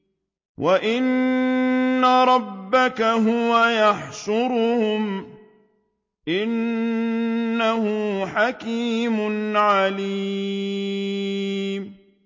وَإِنَّ رَبَّكَ هُوَ يَحْشُرُهُمْ ۚ إِنَّهُ حَكِيمٌ عَلِيمٌ